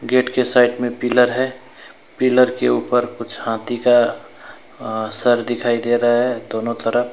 Gate के side में pillar है पिलर के ऊपर कुछ हाथी का अह सर दिखाई दे रहा है दोनों तरफ।